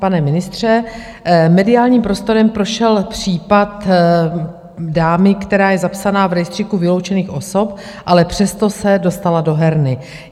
Pane ministře, mediálním prostorem prošel případ dámy, která je zapsaná v rejstříku vyloučených osob, ale přesto se dostala do herny.